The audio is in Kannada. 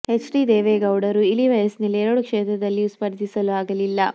ಹೆಚ್ ಡಿ ದೇವೇಗೌಡರು ಇಳಿ ವಯಸ್ಸಿನಲ್ಲಿ ಎರಡು ಕ್ಷೇತ್ರದಲ್ಲಿಯೂ ಸ್ಪರ್ಧಿಸಲು ಆಗಲಿಲ್ಲ